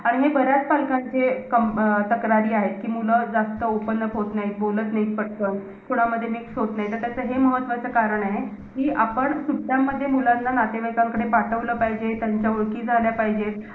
आणि मी बऱ्याच पालकांचे क~ अं तक्रारी आहेत. कि मुलं जास्त open up होतं नाहीत, बोलत नाहीत पटकन. कोणामध्ये mix होत नाहीत. तर त्याचं हे महत्वाचं कारण आहे. कि आपण सुट्यांमध्ये मुलांना नातेवाईकांकडे पाठवलं पाहिजे. त्यांच्या ओळखी झाल्या पाहिजे.